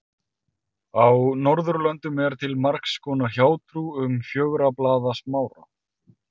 Á Norðurlöndum er til margs konar hjátrú um fjögurra blaða smára.